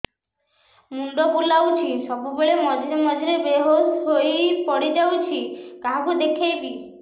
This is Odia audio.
ମୁଣ୍ଡ ବୁଲାଉଛି ସବୁବେଳେ ମଝିରେ ମଝିରେ ବେହୋସ ହେଇ ପଡିଯାଉଛି କାହାକୁ ଦେଖେଇବି